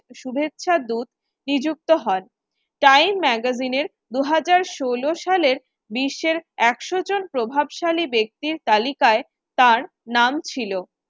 শুভেচ্ছার দূত নিযুক্ত হন। time magazine এর দু হাজার ষোল সালের বিশ্বের একশো জন প্রভাবশালী ব্যক্তির তালিকায় তার নাম ছিল।